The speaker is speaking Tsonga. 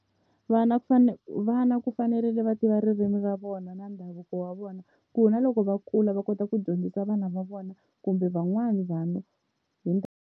Vana ku vana ku fanerile va tiva ririmi ra vona na ndhavuko wa vona ku na loko va kula va kota ku dyondzisa vana va vona kumbe van'wani vanhu hi ndhavuko.